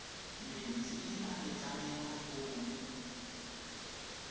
metsi a a lekaneng go